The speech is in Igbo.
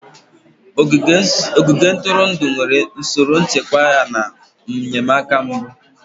Ogige ntụrụndụ nwere usoro nchekwa yana enyemaka mbụ.